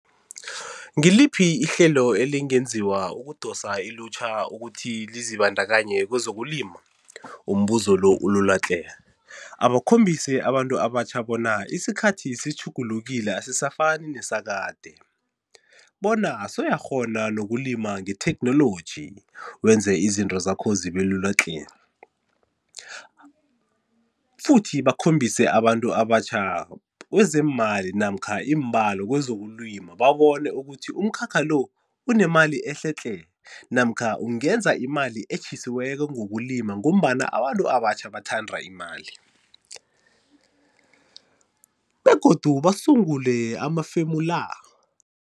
Ngiliphi ihlelo elingenziwa ukudosa ilutjha ukuthi lizibandakanye kwezokulima? Umbuzo lo ulula tle. Abakhombise abantu abatjha bona isikhathi sitjhugulukile asisafani nesakade, bona sewuyakghona nokulima nge-technology wenze izinto zakho zibe lula tle, futhi bakhombise abantu abatjha kwezeemali namkha iimbalo kwezokulima babone ukuthi umkhakha lo unemali ehle tle namkha ungenza imali etjhisiweko ngokulima ngombana abantu abatjha bathanda imali begodu basungule amafemu la